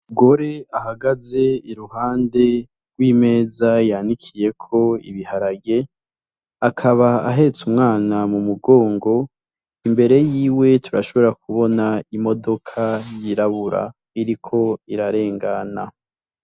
Umugore ahagaze iruhande rw'imeza yanikiyeko ibiharage akaba ahetse umwana mu mugongo imbere yiwe turashobora kubona imodoka yirabura iriko irarengana.